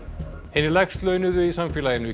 hinir lægst launuðu í samfélaginu